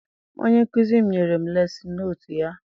Onye nkụzi m nyere m lesin notu ya.